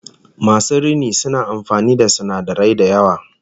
Masu rini suna amfani da sinadarai da yawa